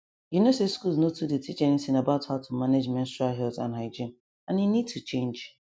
you know say schools nor too dey teach anything about how to manage menstrual health and hygiene and e need to change